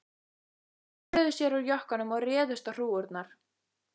Þeir snöruðu sér úr jökkunum og réðust á hrúgurnar.